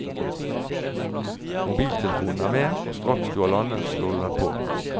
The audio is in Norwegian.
Mobiltelefonen er med, og straks du har landet slår du den på.